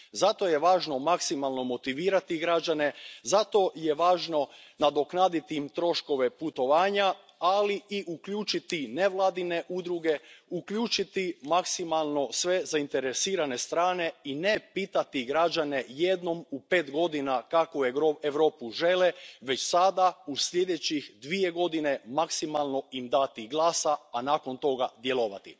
Zato je važno maksimalno motivirati građane, zato je važno nadoknaditi im troškove putovanja, ali i uključiti nevladine udruge, uključiti maksimalno sve zainteresirane strane i ne pitati građane jednom u pet godina kakvu Europu žele, već sada u sljedeće dvije godine maksimalno im dati glasa, a nakon toga djelovati.